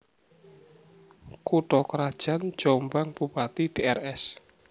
Kutha krajan JombangBupati Drs